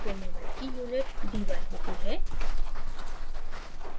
dipole moment की units debye होती है